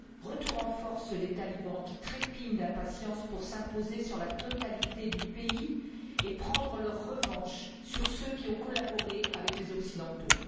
retour en force des talibans, qui trépignent d'impatience pour s'imposer sur la totalité du pays et prendre leur revanche sur ceux qui ont collaboré avec les occidentaux.